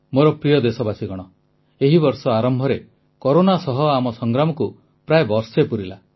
ମୋର ପ୍ରିୟ ଦେଶବାସୀଗଣ ଏହି ବର୍ଷ ଆରମ୍ଭରେ କରୋନା ସହ ଆମ ସଂଗ୍ରାମକୁ ପ୍ରାୟ ବର୍ଷେ ପୁରିଲା